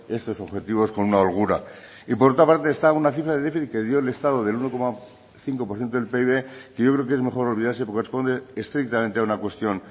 estos objetivos con una holgura y por otra parte está una cifra del déficit que dio el estado del uno coma cinco por ciento del pib que yo creo que es mejor olvidarse porque corresponde estrictamente a una cuestión